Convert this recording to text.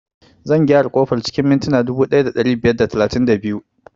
Zan gyara ƙofar cikin mintina dubu ɗaya da ɗari biyar da talatin da biyu